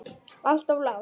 Alltof langt.